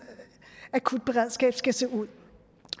akutberedskab skal se ud